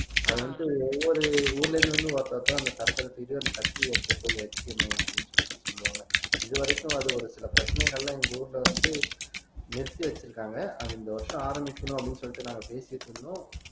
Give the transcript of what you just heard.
அது வந்துட்டு ஒவ்வொரு ஊர்ல இருந்து வந்து ஒருத்தர்தான் அந்த தூக்கிட்டு அந்த கத்தியை எடுத்துட்டு போய் வைக்கணும் அப்படின்னு சொல்லிட்டு சொல்லுவாங்க இது வரைக்கும் அது ஒரு சில பிரச்சனைகள்லாம் எங்க ஊர்ல வந்து நிறுத்தி வச்சிருக்காங்க அது இந்த வருஷம் ஆரம்பிக்கணும் அப்படின்னு சொல்லிட்டு நாங்க பேசிட்டு இருந்தோம்